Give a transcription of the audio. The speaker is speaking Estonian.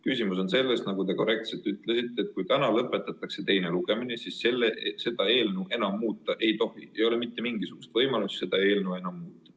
Küsimus on selles, nagu te korrektselt ütlesite, et kui täna lõpetatakse teine lugemine, siis seda eelnõu enam muuta ei tohi, ei ole mitte mingisugust võimalust seda eelnõu enam muuta.